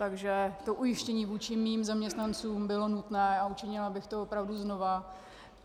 Takže to ujištění vůči mým zaměstnancům bylo nutné a učinila bych to opravdu znova.